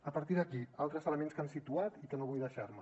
a partir d’aquí altres elements que han situat i que no vull deixar me